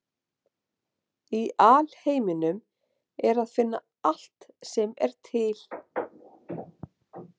Í alheiminum er að finna allt sem er til.